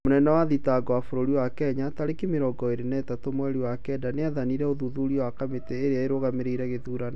Mũnene wa thitango wa bũrũri wa Kenya, tarĩki mĩrongo ĩrĩ na ithatũ mweri wa Kenda nĩathanire ũthuthuria wa kamĩti ĩria ĩrugamĩrĩire gĩthurano